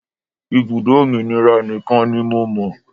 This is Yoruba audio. Ibùdó òmìnira nìkan ni mo mọ̀.